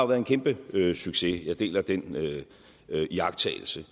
været en kæmpe succes jeg deler den iagttagelse